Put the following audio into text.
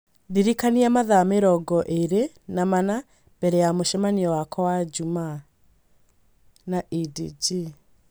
Ndĩrikania mathaa mĩrongo ĩĩrĩ na mana mbere ya mũcemanio wakwa wa Jumaa na edg